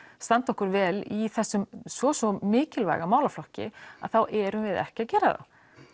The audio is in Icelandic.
standa okkur vel í þessum svo svo mikilvæga málaflokki þá erum við ekki að gera það